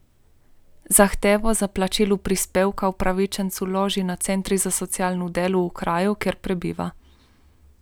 Zahtevo za plačilo prispevka upravičenec vloži na centru za socialno delo v kraju, kjer prebiva.